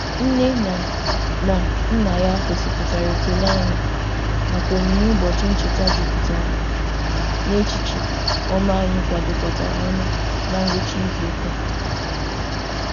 Nne na na nna ya gosipụtara ekele anyị maka onyinye ụbọchị ncheta jupụtara n'echiche ọma anyị kwadokọtara ọnụ na ngwụcha izuụka a.